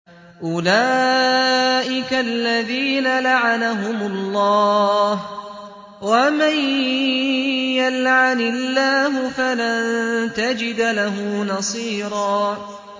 أُولَٰئِكَ الَّذِينَ لَعَنَهُمُ اللَّهُ ۖ وَمَن يَلْعَنِ اللَّهُ فَلَن تَجِدَ لَهُ نَصِيرًا